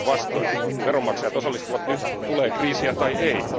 Päinvastoin, veronmaksajat osallistuvat nyt, tulee kriisiä tai ei.